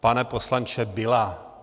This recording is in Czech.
Pane poslanče, byla.